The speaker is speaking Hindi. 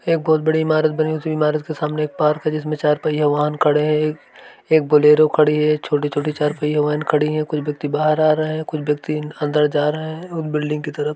एक बहुत व्यक्ति बड़ी इमारत बनी हुई उसी इमारत के सामने एक पार्क है। जिसमें चार पहिया वाहन खड़े हैं। एक एक बोलेरो खड़ी है। छोटी -- छोटी चार पहिया वाहन खड़ी हैं। कुछ व्यक्ति बाहर आ रहे हैं कुछ व्यक्ति अंदर जा रहे हैं और बिल्डिंग की तरफ।